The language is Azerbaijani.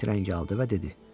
Meyit rəngi aldı və dedi: